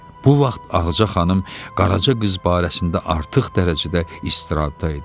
Bu vaxt Ağca xanım Qaraca qız barəsində artıq dərəcədə istirabda idi.